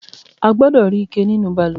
A gbọdọ̀ rí ike nínú balùwẹ̀.